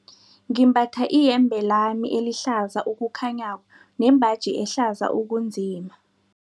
Ngimbatha iyembe lami elihlaza okukhanyako nembaji ehlaza okunzima.